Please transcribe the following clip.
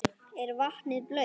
Er vatnið blautt?